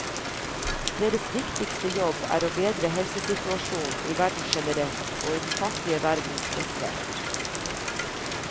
Deres viktigste jobb er å bedre helsesituasjonen i verden generelt, og i den fattige verden spesielt.